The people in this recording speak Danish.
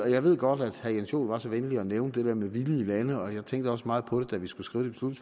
jeg ved godt at herre jens joel var så venlig at nævne det der med villige lande og jeg tænkte også meget på det da vi skulle skrive